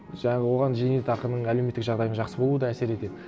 жаңағы оған зейнетақының әлеуметтік жағдайдың жақсы болуы да әсер етеді